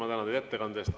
Ma tänan teid ettekande eest.